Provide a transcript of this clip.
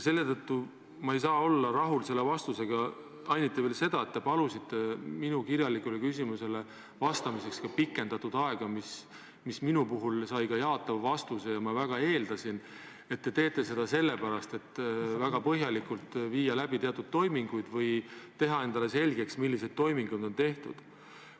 Seetõttu ma ei saa olla selle vastusega rahul, eriti veel seetõttu, et te palusite minu kirjalikule küsimusele vastamiseks ajapikendust, mis sai minult ka jaatava vastuse, ja ma väga eeldasin, et te teete seda sellepärast, et teatud toimingud väga põhjalikult läbi viia või teha endale selgeks, millised toimingud on tehtud.